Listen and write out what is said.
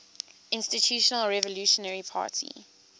institutional revolutionary party